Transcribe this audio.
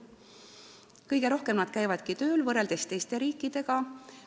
Nad käivad teiste riikide omastehooldajatega võrreldes kõige rohkem tööl.